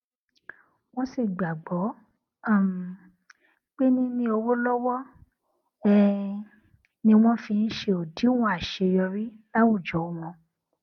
wón sì gbàgbọ um pé níní owó lọwọ um ni wón fi ń ṣe òdiwọn àṣeyọrí láwùjọ wọn